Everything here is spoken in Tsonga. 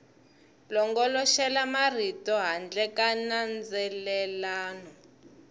longoloxela marito handle ka nandzelelano